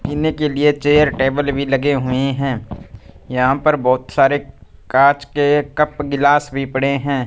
पीने के लिए चेयर टेबल भी लगे हुएं हैं यहां पर बहोत सारे कांच के कप गिलास भी पड़े हैं।